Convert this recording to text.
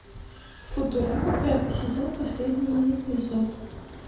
футурама пятый сезон последний эпизод